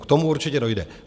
K tomu určitě dojde.